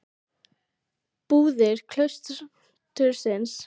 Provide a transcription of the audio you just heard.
Búðir klaustursins eru fylltar nauðsynlegum matvælum.